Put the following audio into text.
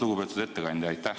Lugupeetud ettekandja!